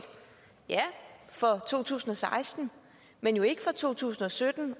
ja for to tusind og seksten men ikke for to tusind og sytten